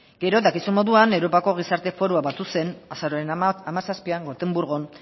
gero dakizun moduan europako gizarte forua batu zen azaroaren hamazazpian gotemburgon